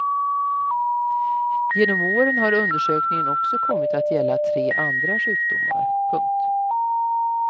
Genom åren har undersökningen också kommit att gälla tre andra sjukdomar. punkt